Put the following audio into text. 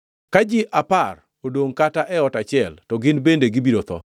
Ka ji apar odongʼ kata e ot achiel, to gin bende gibiro tho.